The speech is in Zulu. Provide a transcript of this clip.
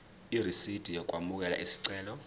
irisidi lokwamukela isicelo